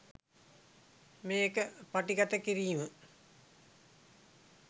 මේක පටිගත කිරීම